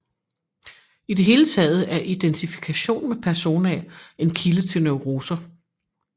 I det hele taget er identifikation med persona en kilde til neuroser